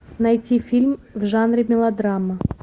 найти фильм в жанре мелодрама